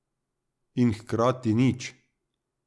In hkrati nič.